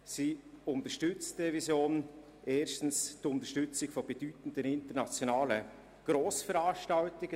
So beinhaltet die Revision erstens die Unterstützung von bedeutenden internationalen Grossveranstaltungen.